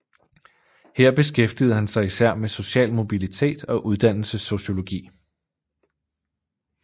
Her beskæftigede han sig især med social mobilitet og uddannelsessociologi